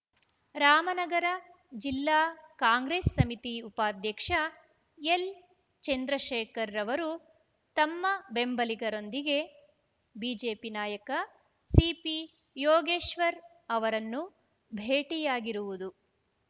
ರಾಮನಗರ ಜಿಲ್ಲಾ ಕಾಂಗ್ರೆಸ್‌ ಸಮಿತಿ ಉಪಾಧ್ಯಕ್ಷ ಎಲ್‌ ಚಂದ್ರಶೇಖರ್‌ ತಮ್ಮ ಬೆಂಬಲಿಗರೊಂದಿಗೆ ಬಿಜೆಪಿ ನಾಯಕ ಸಿಪಿಯೋಗೇಶ್ವರ್‌ ಅವರನ್ನು ಭೇಟಿಯಾಗಿರುವುದು